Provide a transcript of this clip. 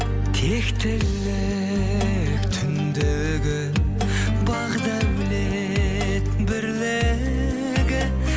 тектілік түндегі бақ дәулет бірлігі